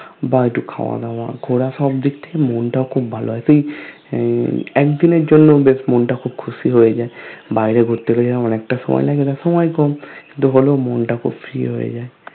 বা ইকটু খাওয়াদাওয়া ঘোরা সব দিগ্ থেকে মনতা খুব ভালো হয় এক দিনের জন্য বেশ মনটা খুব খুশি হয়ে যায় বাইরে ঘুরতে জেলা অনেকতা সময় লেগে যাই সময় কম কিন্তু হলেও মন টা খুব Free হয়ে যাই